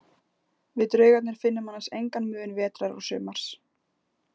Við draugarnir finnum annars engan mun vetrar og sumars.